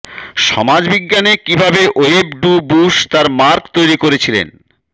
সমাজবিজ্ঞানে কীভাবে Web Du Bois তার mark তৈরি করেছিলেন